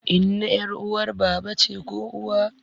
Inna ƴar uwar baba ce ko uwa